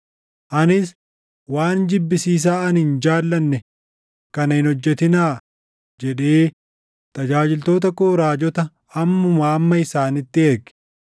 Anis, ‘Waan jibbisiisaa ani hin jaallanne kana hin hojjetinaa!’ jedhee tajaajiltoota koo raajota ammumaa amma isaanitti erge.